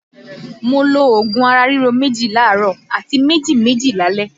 Mo lo òògùn ara ríro méjì láàárọ̀ àti méjì méjì lálẹ́